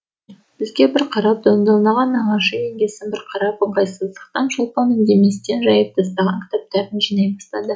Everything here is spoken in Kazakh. бізге бір қарап нағашы жеңгесін бір қарап ыңғайсыздықтан шолпан үндеместен жайып тастаған кітаптарын жинай бастады